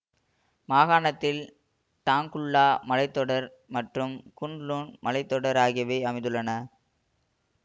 மாகாணத்தில் டாங்குல்லா மலை தொடர் மற்றும் குன் லுன் மலை தொடர் ஆகியவை அமைந்துள்ளன